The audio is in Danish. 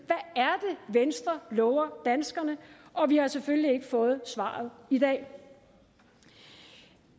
venstre lover danskerne og vi har selvfølgelig ikke fået svaret i dag